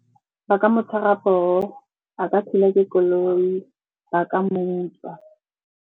Ba ka mo tshwara poo, a ka thulwa ke koloi, ba ka mo utswa.